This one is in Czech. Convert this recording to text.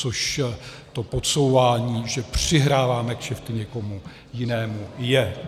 Což to podsouvání, že přihráváme kšefty někomu jinému, je.